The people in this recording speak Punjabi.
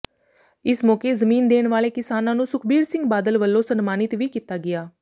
ਇਸ ਮੌਕੇ ਜ਼ਮੀਨ ਦੇਣ ਵਾਲੇ ਕਿਸਾਨਾਂ ਨੂੰ ਸੁਖਬੀਰ ਸਿੰਘ ਬਾਦਲ ਵੱਲੋਂ ਸਨਮਾਨਿਤ ਵੀ ਕੀਤਾ ਗਿਆ